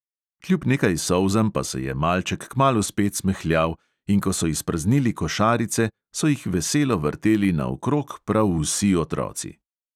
Kljub nekaj solzam pa se je malček kmalu spet smehljal, in ko so izpraznili košarice, so jih veselo vrteli naokrog prav vsi otroci.